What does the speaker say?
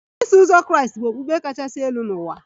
Iso uzọ Kraịst bụ okpukpe kachasị elu n'ụwa